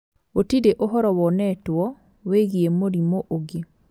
Gu͂tiri͂ u͂horo wonetwo wi͂gii͂ mu͂rimu͂ u͂ngi͂.